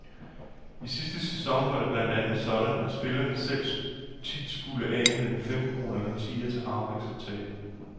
I sidste sæson var det blandt andet sådan, at spillerne selv tit skulle af med en femkrone eller en tier til harpiks og tape.